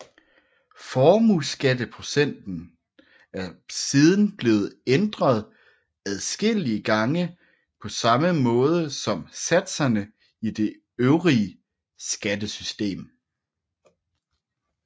Formueskatteprocenterne er siden blevet ændret adskillige gange på samme måde som satserne i det øvrige skattesystem